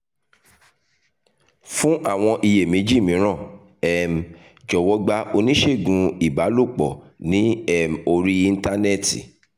fún àwọn iyèméjì mìíràn um jọ̀wọ́ gba oníṣègùn ìbálòpọ̀ ní um orí íńtánẹ́ẹ̀tì